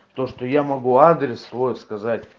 то что я могу адрес свой сказать